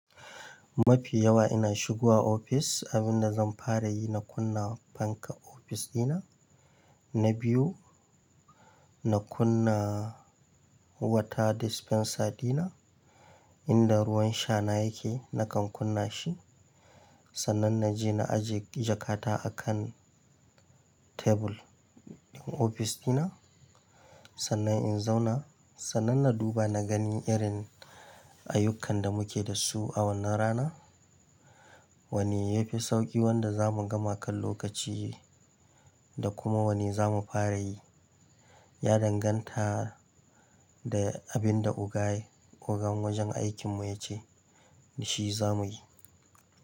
Mafi yawa ina shigowa ofis, abin da zan fara yi na kunna fanka ofis dina. Na biyu, na kunna water dispenser dina, inda ruwan sha na yake nakan kunna shi. Sannan na je na aje jakata a kan tebur din ofis dina. Sannan in zauna, sannan na duba na gani irin ayyukan da muke da su a wannan rana. Wane ya fi sauƙi wanda za mu gama kan lokaci da kuma wane za mu fara yi. Ya danganta da abin da oga, ogan wajen aikinmu ya ce shi za mu yi.